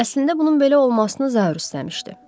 Əslində bunun belə olmasını Zaur istəmişdi.